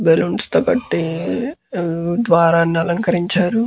Balloons తో కట్టి ద్వారాన్ని అలంకరించారు.